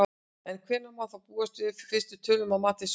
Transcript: En hvenær má þá búast við fyrstu tölum að mati Sveins?